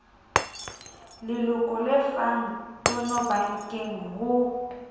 leloko le lefang tonobankeng ho